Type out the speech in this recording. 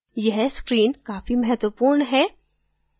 यह screen काफी महत्वपूर्ण है